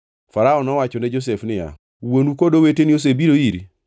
Farao nowacho ne Josef niya, “Wuonu kod oweteni osebiro iri,